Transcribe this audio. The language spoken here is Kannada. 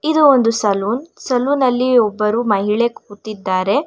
ಇದು ಒಂದು ಸಲೂನ್ ಸಲೂನ್ ಅಲ್ಲಿ ಒಬ್ಬರು ಮಹಿಳೆ ಕೂತಿದ್ದಾರೆ.